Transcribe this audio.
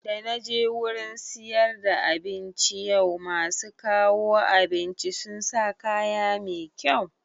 Da naje wurin siyar da abinci yau, masu kawo abinci sun sa kaya mai kyau